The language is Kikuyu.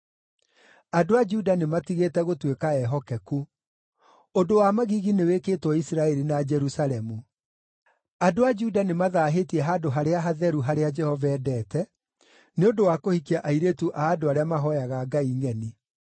Andũ a Juda nĩmatigĩte gũtuĩka ehokeku. Ũndũ wa magigi nĩwĩkĩtwo Isiraeli na Jerusalemu: Andũ a Juda nĩmathaahĩtie handũ harĩa hatheru harĩa Jehova endete, nĩ ũndũ wa kũhikia airĩtu a andũ arĩa mahooyaga ngai ngʼeni.